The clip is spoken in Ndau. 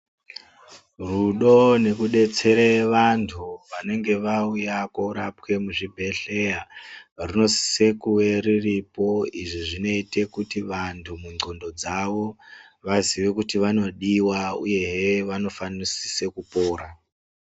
Rudo nekudetsere vantu vanenge vauya koorapwe muzvibhedhlera runosise kuwe ruripo. Izvi zvinoite kuti vantu mundlqondo dzavo vaziye kuti vanodiwa uyehe vanofanesise kupora.